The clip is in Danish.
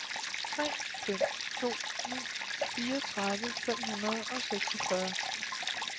tre fem to ni fireogtredive fem hundrede og seksogfyrre